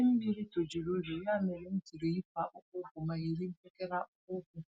Idee Mlmmiri tojuru okporoụzọ, ya mèrè m jiri yipụ akpụkpọ ụkwụm ma yiri mpekele akpụkpọ ụkwụ